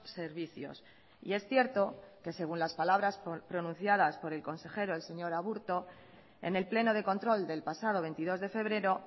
servicios y es cierto que según las palabras pronunciadas por el consejero el señor aburto en el pleno de control del pasado veintidós de febrero